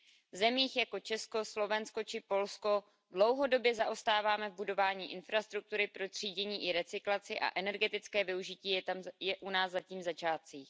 V zemích jako Česko, Slovensko či Polsko dlouhodobě zaostáváme v budování infrastruktury pro třídění i recyklaci a energetické využití je u nás zatím v začátcích.